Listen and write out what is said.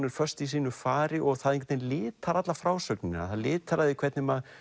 er föst í sínu fari og það einhvern litar alla frásögnina það litar það hvernig maður